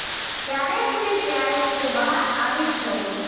ક્યારેક ને ક્યારેક તે બહાર આવી જ જાય છે